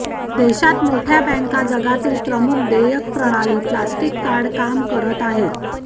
देशात मोठ्या बँका जगातील प्रमुख देयक प्रणाली प्लास्टिक कार्ड काम करत आहेत